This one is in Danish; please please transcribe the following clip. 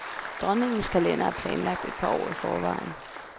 Dronningens kalender er planlagt et par år i forvejen.